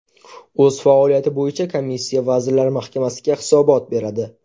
O‘z faoliyati bo‘yicha komissiya Vazirlar Mahkamasiga hisobot beradi.